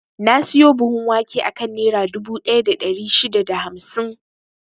Na siyo buhun wake akan Nera dubu ɗaya da ɗari shida da hamsin.